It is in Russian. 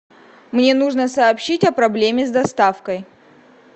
мне нужно сообщить о проблеме с доставкой